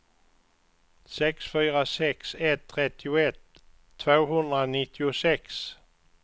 sex fyra sex ett trettioett tvåhundranittiosex